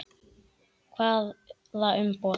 Hvaða umboð?